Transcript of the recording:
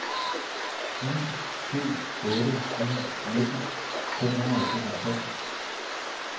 ni syv otte ni nitten fem hundrede og toogtres